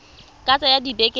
ka tsaya dibeke di le